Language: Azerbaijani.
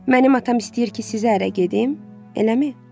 Mənim atam istəyir ki, sizə ərə gedim, eləmi?